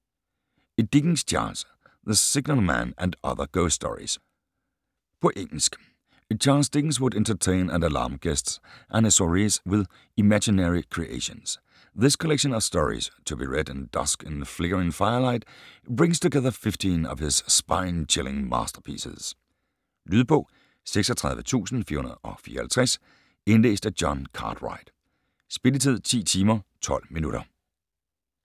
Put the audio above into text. Dickens, Charles: The signalman and other ghost stories På engelsk. Charles Dickens would entertain and alarm guests at his soirees with his imaginary creations. This collection of stories, to be read at dusk in flickering firelight, brings together fifteen of his spine-chilling masterpieces. Lydbog 36454 Indlæst af Jon Cartwright Spilletid: 10 timer, 12 minutter